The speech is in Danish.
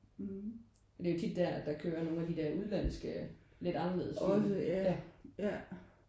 Men det er jo tit der at der kører nogen af de der udenlandske lidt anderledes film ja